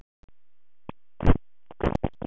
Lási horfði í augun á henni, nokkurn veginn alveg beint.